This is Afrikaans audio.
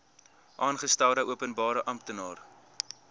aangestelde openbare amptenaar